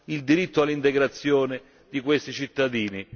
il diritto all'integrazione di questi cittadini.